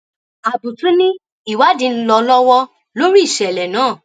àbùtù ni ìwádìí ń lọ lọwọ lórí ìṣẹlẹ náà